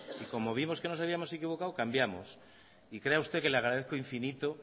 y como vimos que nos habíamos equivocado cambiamos y crea usted que le agradezco infinito